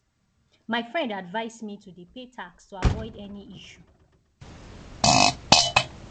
my friend advice me to dey pay tax to avoid any issue